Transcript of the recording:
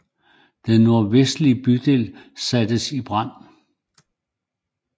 Den nordvestlige bydel sattes i brand